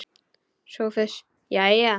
SOPHUS: Jæja!